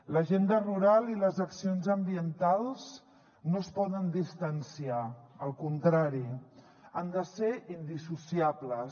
l’agenda rural i les accions ambientals no es poden distanciar al contrari han de ser indissociables